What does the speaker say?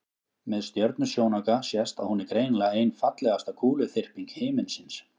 með stjörnusjónauka sést að hún er greinilega ein fallegasta kúluþyrping himinsins